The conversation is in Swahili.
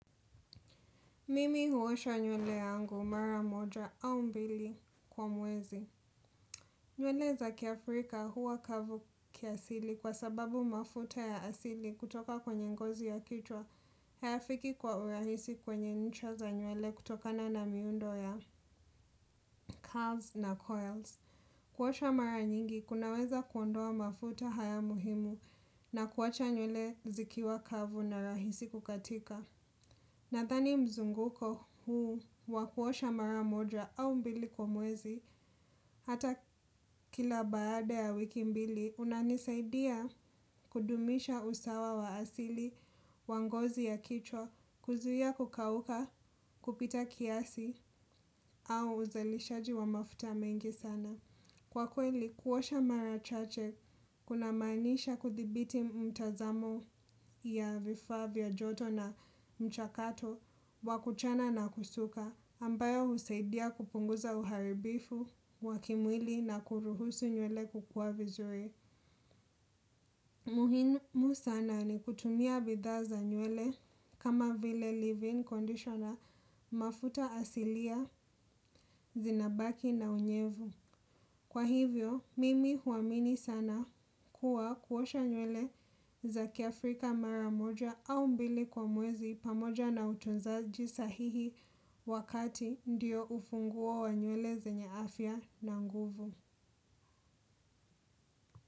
Mimi huosha nywele yangu mara moja au mbili kwa mwezi. Nywele za kiafrika huwa kavu kiasili kwa sababu mafuta ya asili kutoka kwenye ngozi ya kichwa. Hayafiki kwa urahisi kwenye ncha za nywele kutokana na miundo ya curls na coils. Kuosha mara nyingi kunaweza kuondoa mafuta haya muhimu na kuwacha nywele zikiwa kavu na rahisi kukatika. Nadhani mzunguko huu wa kuosha mara moja au mbili kwa mwezi hata kila baada ya wiki mbili unanisaidia kudumisha usawa wa asili, wa ngozi ya kichwa, kuzuia kukauka, kupita kiasi au uzalishaji wa mafuta mengi sana. Kwa kweli kuosha mara chache kunamaanisha kuthibiti mtazamo ya vifaa vya joto na mchakato wa kuchana na kusuka ambayo husaidia kupunguza uharibifu, wa kimwili na kuruhusu nywele kukua vizuri. Muhinmu sana ni kutumia bidhaa za nywele kama vile leave in conditioner mafuta asilia, zinabaki na unyevu. Kwa hivyo, mimi huamini sana kuwa kuosha nywele za kiafrika mara moja au mbili kwa mwezi pamoja na utunzaji sahihi wakati ndiyo ufunguo wa nywele zenye afya na nguvu.